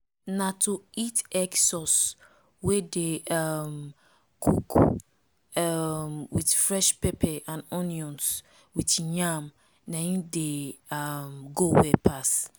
na to eat egg sauce wey dey um um cook um with fresh pepper and onions with yam na im dey um go well pass